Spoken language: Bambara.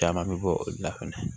Caman bɛ bɔ o la fana